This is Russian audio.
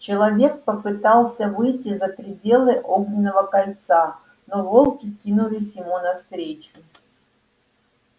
человек попытался выйти за пределы огненного кольца но волки кинулись ему навстречу